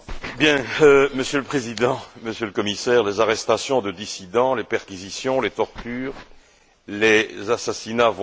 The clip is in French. Monsieur le Président, Monsieur le Commissaire, les arrestations de dissidents, les perquisitions, les tortures, les assassinats vont croissant.